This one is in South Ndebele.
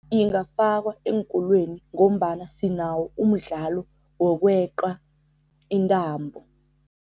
Ingafakwa eenkolweni ngombana sinawo umdlalo wokweqa intambo.